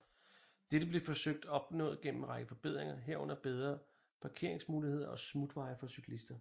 Dette blev forsøgt opnået gennem en række forbedringer herunder bedre parkeringsmuligheder og smutveje for cyklister